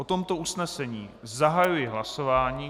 O tomto usnesení zahajuji hlasování.